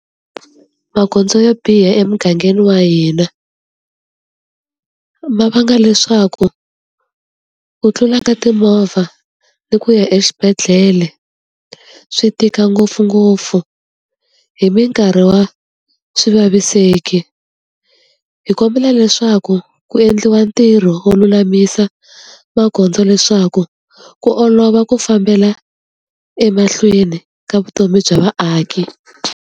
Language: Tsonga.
Magondzo yo biha emugangeni wa hina, ma vanga leswaku ku tlula ka timovha ni ku ya exibedhlele swi tika ngopfungopfu hi minkarhi wa swi vaviseki. Hi kombela leswaku ku endliwa ntirho wo lulamisa magondzo leswaku ku olova ku fambela emahlweni ka vutomi bya vaaki.